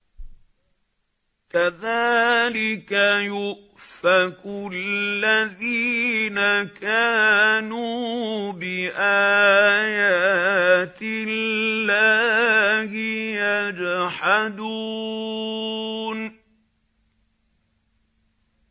كَذَٰلِكَ يُؤْفَكُ الَّذِينَ كَانُوا بِآيَاتِ اللَّهِ يَجْحَدُونَ